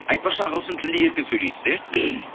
айтпақшы ағылшын тілінде еркін сөйлесіз иә